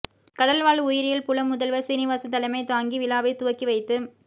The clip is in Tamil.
கடல் வாழ் உயிரியல் புல முதல்வர் சீனிவாசன் தலைமை தாங்கி விழாவை துவக்கி வைத்து